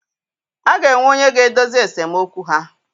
A ga-enwe onye ga-edozi esemokwu ha.